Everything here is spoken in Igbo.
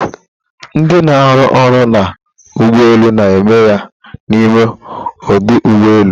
ndi na-arụ ọrụ na ụgbọelu na eme ya n’ime ọdụ ụgbọ elu